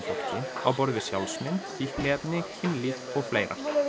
á borð við sjálfsmynd fíkniefni kynlíf og fleira